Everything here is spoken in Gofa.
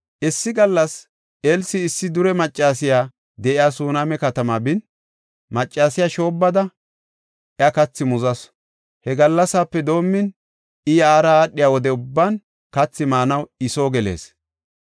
Issi gallas Elsi issi dure maccasiya de7iya Suneema katama bin, maccasiya shoobbada, iya kathi muzasu. He gallasape doomin, I yaara aadhiya wode ubban kathi maanaw I soo gelees.